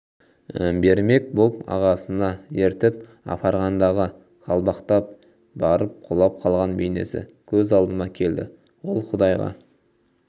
пермек боп ағасына ертіп апарғандағы қалбалақтап барып құлап қалған бейнесі көз алдыма келді ол құдайға